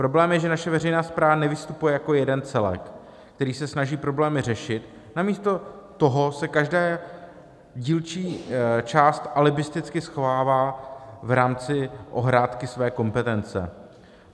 Problém je, že naše veřejná správa nevystupuje jako jeden celek, který se snaží problémy řešit, namísto toho se každá dílčí část alibisticky schovává v rámci ohrádky své kompetence.